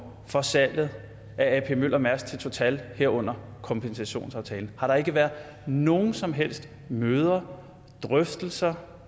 for salget af ap møller mærsk as til total herunder kompensationsaftalen har der ikke været nogen som helst møder drøftelser